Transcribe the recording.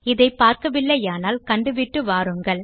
இதை பார்க்கவில்லையானால் கண்டுவிட்டு வாருங்கள்